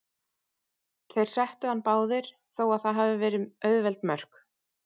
Þeir settu hann báðir, þó að það hafi verið auðveld mörk.